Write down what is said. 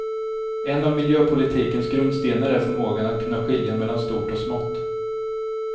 En av miljöpolitikens grundstenar är förmågan att kunna skilja mellan stort och smått.